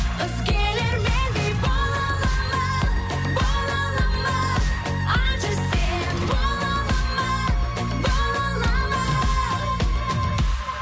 өзгелер мендей бола алады ма бола алады ма айтшы сен бола алады ма бола алады ма